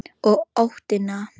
Og óttinn.